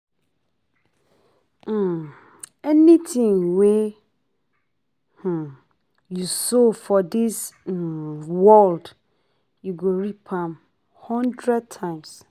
um Anything wey um you sow for dis um world you go reap am hundred times